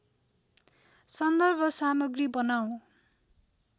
सन्दर्भ सामग्री बनाऊँ